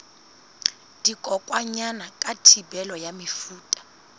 dikokwanyana ka thibelo ya mefuta